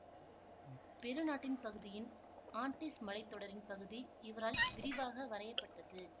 பெரு நாட்டின் பகுதியின் ஆண்ட்டீஸ் மலைத்தொடரின் பகுதி இவரால் விரிவாக வரையப்பட்டது